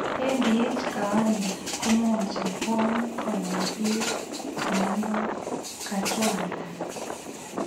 ADH kawaita komwochin bwonik koyai beek chemondo kachwalak